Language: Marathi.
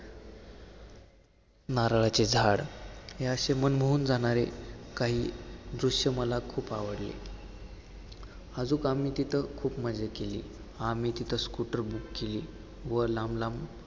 नारळाचे झाडं हे असे, मन मोहून जाणारे काही दृष्य मला खूप आवडले. अजून आम्ही तिथं खूप मजा केली. आम्ही तिथं scooter book केली व लांब लांब